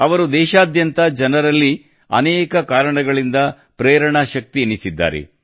ಅವರು ದೇಶಾದ್ಯಂತ ಜನರಲ್ಲಿ ಅನೇಕ ಕಾರಣಗಳಿಂದ ಪ್ರೇರಣಾ ಶಕ್ತಿಯೆನಿಸಿದ್ದಾರೆ